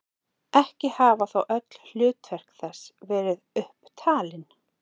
Ekki hafa þó öll hlutverk þess verið upp talin.